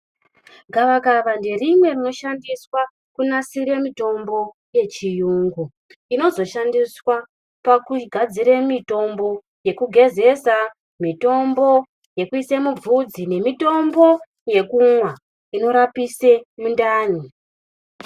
Gavakava nderimwe rinoshandiswa kunasire mitombo yechiyungu inozoshandiswa pakugadzire mitombo yekugezesa, mitombo yekuise mubvudzi nemitombo yekumwa inorapise mundani.